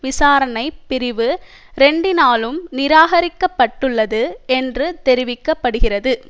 விசாரணைப் பிரிவு இரண்டினாலும் நிராகரிக்க பட்டுள்ளது என்று தெரிவிக்கபடுகிறது